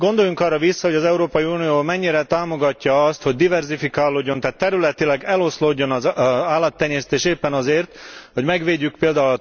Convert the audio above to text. Gondoljunk arra vissza, hogy az Európai Unió mennyire támogatja azt, hogy diverzifikálódjon, tehát területileg eloszlódjon az állattenyésztés éppen azért, hogy megvédjük pl.